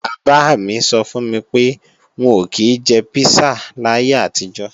Bàbá mi sọ fún mi pé, wọn ò kí jẹ písà láyé àtijọ́